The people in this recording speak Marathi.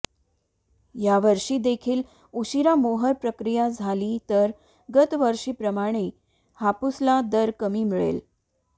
या वर्षीदेखील उशिरा मोहर प्रक्रिया झाली तर गतवर्षीप्रमाणे हापूसला दर कमी मिळेल